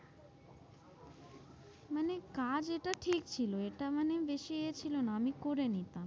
মানে কাজ এটা ঠিক ছিল এটা মানে বেশি এ ছিল না, আমি করে নিতাম।